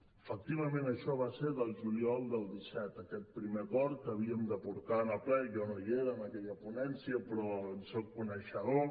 efectivament això va ser del juliol del disset aquest primer acord que havíem de portar en el ple jo no hi era en aquella ponència però en soc coneixedor